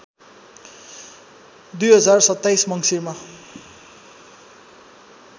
२०२७ मङ्सिरमा